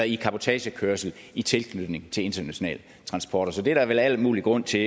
i cabotagekørsel i tilknytning til international transport så det er der vel al mulig grund til